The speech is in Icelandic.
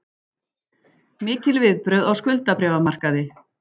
Mikil viðbrögð á skuldabréfamarkaði